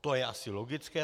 To je asi logické.